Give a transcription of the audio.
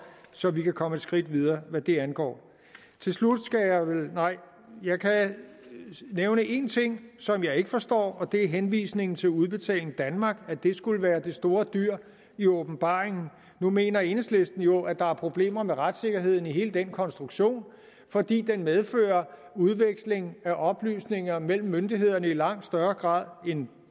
så vi kan komme et skridt videre hvad det angår til slut kan jeg nævne en ting som jeg ikke forstår og det er henvisningen til at udbetaling danmark skulle være det store dyr i åbenbaringen nu mener enhedslisten jo at der er problemer med retssikkerheden i hele den konstruktion fordi den medfører udveksling af oplysninger mellem myndighederne i langt højere grad end